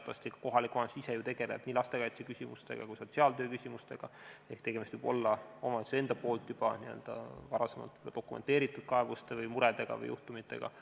Teatavasti kohalik omavalitsus ise tegeleb nii lastekaitse kui ka sotsiaaltöö küsimustega, ehk tegemist võib olla kaebuste, murede või juhtumitega, mida omavalitsus ise on juba varem dokumenteerinud.